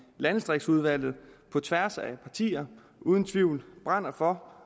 landdistriktsudvalget på tværs af partier uden tvivl brænder for